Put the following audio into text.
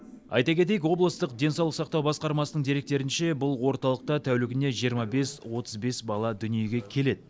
айта кетейік облыстық денсаулық сақтау басқармасының деректерінше бұл орталықта тәулігіне жиырма бес отыз бес бала дүниеге келеді